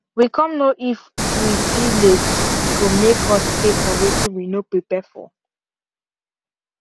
we come know if we fill late e go make us pay for wetin we no prepare for